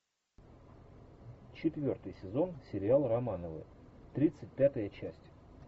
четвертый сезон сериал романовы тридцать пятая часть